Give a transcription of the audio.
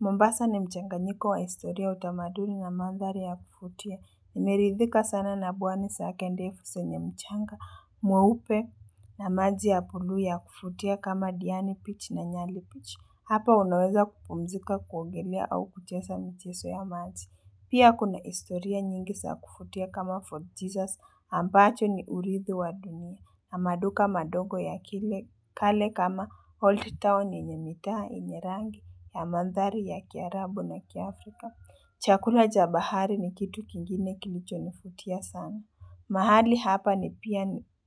Mombasa ni mchanganyiko wa historia utamaduni na mandhari ya kuvutia. Nimeridhika sana na pwani zake ndefu zenye mchanga, mweupe na maji ya bulu ya kuvutia kama diani bichi na nyali bichi. Hapa unaweza kupumzika kuogelea au kucheza michezo ya maji. Pia kuna historia nyingi za kuvutia kama fort Jesus ambacho ni uridhi wa dunia. Na maduka madogo ya kile kale kama old Town yenye mitaa yenye rangi ya mandhari ya Kiarabu na kiafrika. Chakula cha bahari ni kitu kingine kilicho nivutia sana. Mahali hapa ni